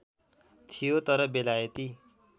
थियो तर बेलायती